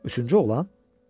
Üçüncü oğlan?